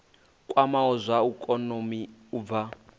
kwamaho zwa ikonomi u bva